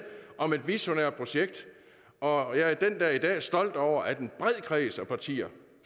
om et visionært projekt og og jeg er den dag i dag stolt over at en bred kreds af partier